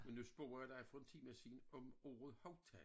Men nu spørger jeg dig for en time siden om ordet haudtag